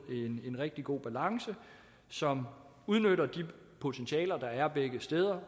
en rigtig god balance som udnytter de potentialer der er begge steder